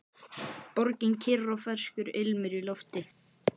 Borgin kyrr og ferskur ilmur í lofti.